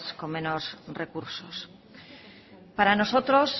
con menos recursos para nosotros